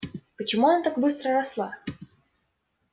почему она так быстро росла